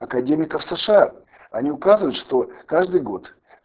академиков сша они указывают что каждый год